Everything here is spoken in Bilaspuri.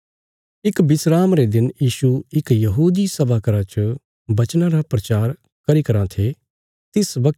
इक विस्राम रे दिन यीशु इक यहूदी सभा घर च वचना रा प्रचार करी कराँ थे तिस वगत